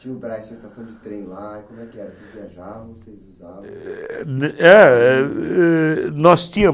Tinha um braço e uma estação de trem lá. vocês viajam nós tínhamos